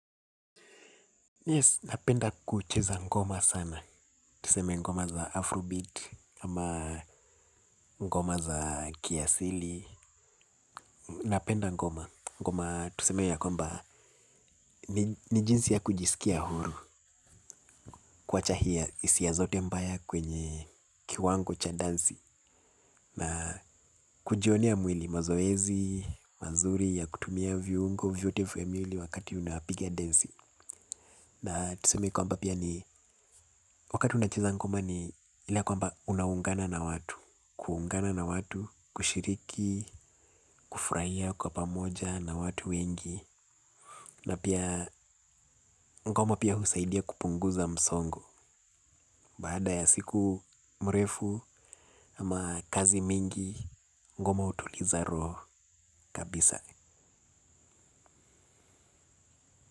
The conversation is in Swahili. Yes, napenda kucheza ngoma sana. Tuseme ngoma za Afrobeat, ama ngoma za kiasili. Napenda ngoma. Ngoma tuseme ya kwamba ni jinsi ya kujiskia huru. Kwa chahia hisia zote mbaya kwenye kiwango cha dansi. Na kujionea mwili mazoezi, mazuri, ya kutumia viungo, vyote vya mwili wakati unapigia densi. Na tuseme kwamba pia ni wakati unacheza ngoma ni ile ya kwamba unaungana na watu. Kuungana na watu, kushiriki, kufurahia kwa pamoja na watu wengi. Na pia ngoma pia husaidia kupunguza msongo. Baada ya siku mrefu ama kazi mingi ngoma hutuliza roho kabisa.